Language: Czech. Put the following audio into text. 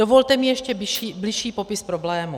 Dovolte mi ještě bližší popis problému.